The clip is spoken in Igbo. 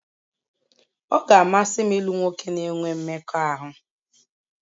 Ọ ga-amasị m ịlụ nwoke na-enwe mmekọahụ